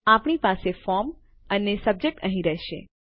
આપણી પાસે ફ્રોમ અને સબ્જેક્ટ અહીં રહેશે